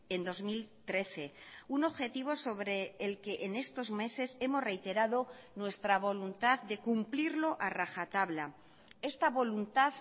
en dos mil trece un objetivo sobre el que en estos meses hemos reiterado nuestra voluntad de cumplirlo a rajatabla esta voluntad